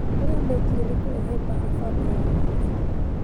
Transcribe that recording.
ũrĩa mekire nĩ kureta mbara famĩlĩ yao yothe